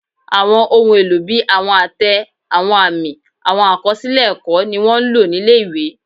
Àwọn ohun èlò bí àwọn àtẹ, àwọn àmì, àwọn àkọsílẹ̀ ẹ̀kọ́, ni wọ́n ń lò nílé ìwé